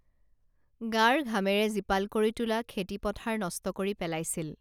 গাৰ ঘামেৰে জীপাল কৰি তোলা খেতি পথাৰ নষ্ট কৰি পেলাইছিল